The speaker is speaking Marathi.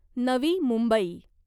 नवी मुंबई